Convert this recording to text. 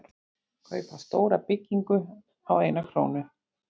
Kaupa stóra byggingu á eina krónu